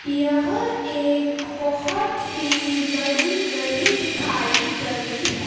यह एक बहोत ही बड़ी गली दिखाई गई है।